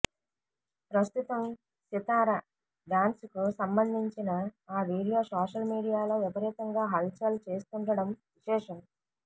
ప్రస్తుతం సితార డ్యాన్స్ కు సంబంధించిన ఆ వీడియో సోషల్ మీడియాలో విపరీతంగా హల్ చల్ చేస్తుండడం విశేషం